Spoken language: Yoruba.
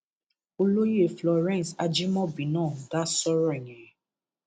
olóyè florence ajimobi náà dá sọrọ yẹn